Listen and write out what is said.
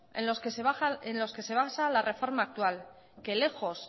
en los que se basa la reforma actual que lejos